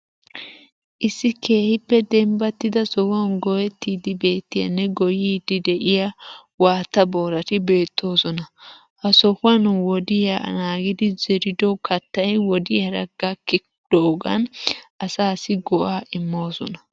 Issi keehippe demibbattida sohuwan goyettida biittayinne goyiiddi de'iya waatta boorati beettoosona. Ha sohuwan wodiya naagidi zerido kattay wodiyaara gakkiyogaan asaassi go'aa immoosona.